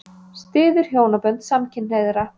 Styður hjónabönd samkynhneigðra